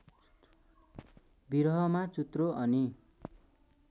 बिरहमा चुत्रो अनि